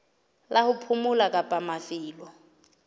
la ho phomola kapa mafelo